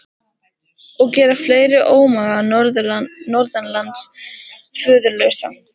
Og gera fleiri ómaga norðanlands föðurlausa!